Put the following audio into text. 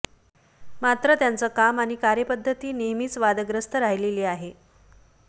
मात्र त्यांचं काम आणि कार्यपद्धती नेहमीच वादग्रस्त राहिलेली आहे